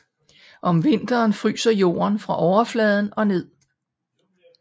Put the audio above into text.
Om vinteren fryser jorden fra overfladen og ned